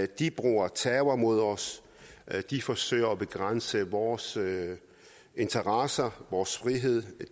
de bruger terror mod os de forsøger at begrænse vores interesser og vores frihed